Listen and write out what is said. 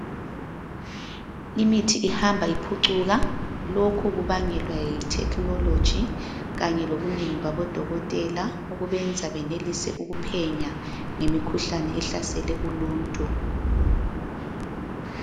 Imithi ihamba iphucuka lokhu kubangwela yithekhinoloji kanye lobunengi babodokotela okubenza benelise ukuphenya ngemikhuhlane ehlasele uluntu.